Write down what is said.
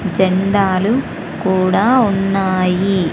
జెండాలు కూడా ఉన్నాయి.